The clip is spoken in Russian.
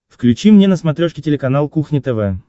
включи мне на смотрешке телеканал кухня тв